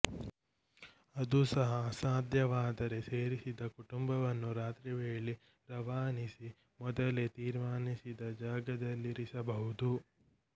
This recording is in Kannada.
ಅದೂ ಸಹ ಅಸಾಧ್ಯವಾದರೆ ಸೇರಿಸಿದ ಕುಟುಂಬವನ್ನು ರಾತ್ರಿ ವೇಳೆ ರವಾನಿಸಿ ಮೊದಲೇ ತೀರ್ಮಾನಿಸಿದ ಜಾಗದಲ್ಲಿರಿಸಬಹುದು